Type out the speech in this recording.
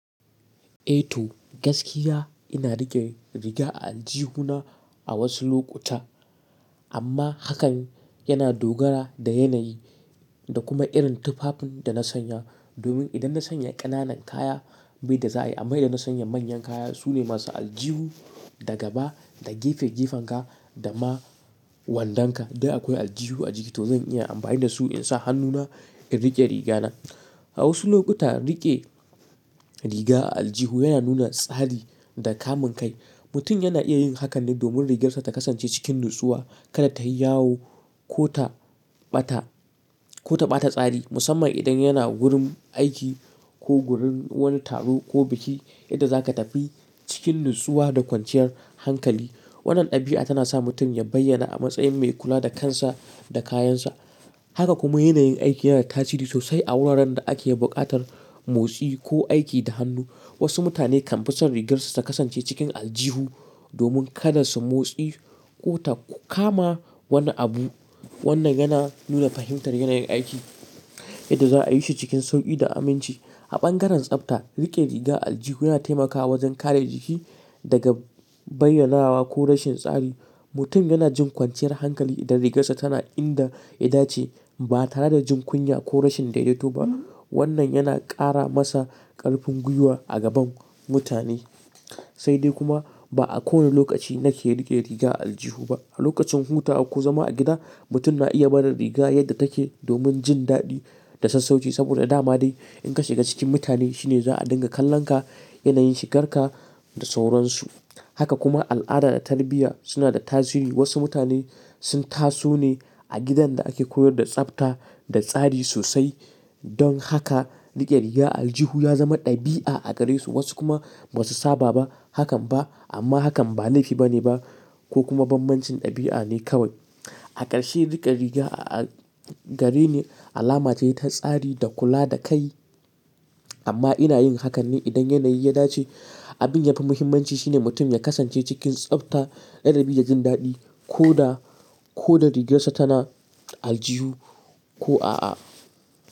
Eh to gaskiya ina rike riga a aljihuna a wasu lokuta amma hakan yana dogara da yanayi da kuma irin tufafin da na sanya. Domin idan na sanya ƙananan kaya bai da zai yi amma idan na sanya manyan kaya su ne masu aljihu daga ba da gefe gefen ka da ma wandon ka. Da akwai aljihu a jiki to zan iya amfani da su in sa hannuna in rike riga na. A wasu lokuta rike riga a aljihu yana nuna tsari da kamun kai. Mutum yana iya yin hakan ne domin rigarsa ta kasance cikin natsuwa kada ta yi yawo ko ta ɓata, ko ta ɓata tsari musamman idan yana gurin aiki ko gurin wani taro ko biki yadda za ka tafi cikin natsuwa da kwanciyar hankali. Wannan ɗabi'a tana sa mutum ya bayyana a matsayin mai kula da kansa da kayansa. Haka kuma yanayin aiki yana da tasiri sosai a wuraren da ake buƙatar motsi ko aiki da hannu. Wasu mutane kan fi son rigarsu ta kasance cikin aljihu domin kada su motsi ko ta kama wani abu. Wannan yana nuna fahimtar yanayin aiki yadda za a yi shi cikin sauƙi da aminci. A ɓangaren tsafta rike riga aljihu yana taimakawa wajen kare jiki daga bayyanawa ko rashin tsari. Mutum yana jin kwanciyar hankali idan rigarsa tana inda ya dace ba tare da jin kunya ko rashin daidaito ba. Wannan yana ƙara masa ƙarfin gwiwa a gaban mutane. Sai dai kuma ba a kowane lokaci na ke rike riga aljihu ba. A lokacin hutawa ko zama a gida mutum na iya bada riga yadda take domin jin daɗi da sassauci saboda dama dai in ka shiga cikin mutane shine za a dinga kallon ka, yanayin shigar ka da sauransu. Haka kuma al'ada da tarbiyya suna da tasiri. Wasu mutane sun taso ne a gidan da ake koyar da tsafta da tsari sosai don haka rike riga a aljihu ya zama ɗabi'a a gare su wasu kuma ba su saba ba hakan ba amma hakan ba laifi bane ba ko kuma banbancin ɗabi'a ne kawai. A ƙarshe rike riga a gare ni alama ce ta tsari da kula da kai amma ina yin hakan ne idan yanayi ya dace. Abin yafi muhimmanci shine mutum ya kasance cikin tsafta, ladabi da jin daɗi ko da, ko da rigarsa tana aljihu ko a a.